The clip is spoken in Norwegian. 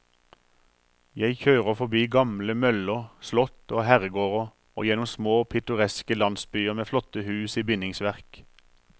Jeg kjører forbi gamle møller, slott og herregårder og gjennom små, pittoreske landsbyer med flotte hus i bindingsverk.